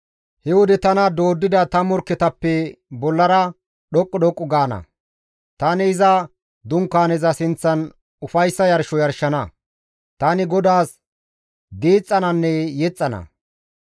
He wode tana dooddida ta morkketappe bollara dhoqqu dhoqqu gaana; tani iza Dunkaaneza sinththan ufayssa yarsho yarshana; tani GODAAS diixxananne yexxana.